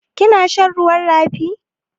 Kina shan ruwan rafi?